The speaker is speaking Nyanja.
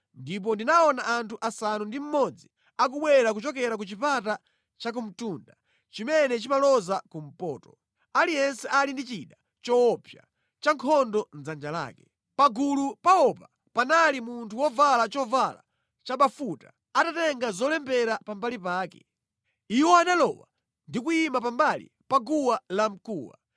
Ndipo ndinaona anthu asanu ndi mmodzi akubwera kuchokera ku chipata chakumtunda chimene chimaloza kumpoto, aliyense ali ndi chida choopsa cha nkhondo mʼdzanja lake. Pagulu pawopa panali munthu wovala chovala chabafuta, atatenga zolembera pambali pake. Iwo analowa ndi kuyima pambali pa guwa lamkuwa.